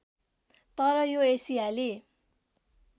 तर यो एसियाली